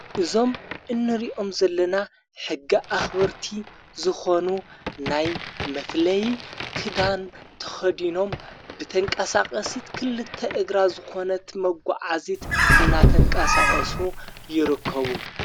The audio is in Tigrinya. እዞም እንሪእኦም ዘለና ሕጊ ኣኽበርቲ ዝኾኑ ናይ መፍለይ ክዳን ተኸዲኖም ብተንቃሳቐሲት ክልተ እግራ ዝኾነት መጐዓዚት እናተንቃሳቐሱ ይረከቡ።